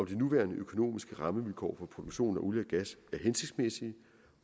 de nuværende økonomiske rammevilkår for produktion af olie og gas er hensigtsmæssige